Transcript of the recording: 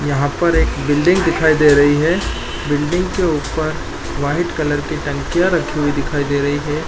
यहाँ पर एक बिल्डिंग दिखाई दे रही है बिल्डिंग के ऊपर व्हाइट कलर की टंकियां रखी हुई दिखाई दे रही है।